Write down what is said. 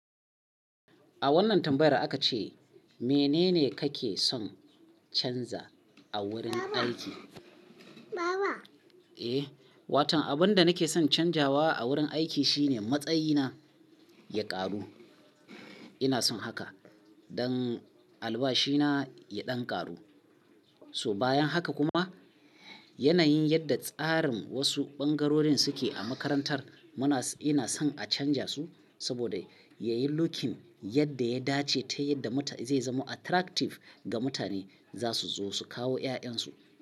A wannan tambayar aka ce, "Menene kake son canza a wurin aiki?" Eh, waton abin da nake son canzawa a wurin aiki shine matsayina ya ƙaru. Ina son haka don albashina ya ɗan ƙaru. So bayan haka kuma, yanayin yadda tsarin wasu ɓangarorin suke a makarantar muna, ina son a canza su saboda yayi lookin yadda ya dace ta yadda zai zama attractive ga mutane za su zo su kawo 'ya'yan su.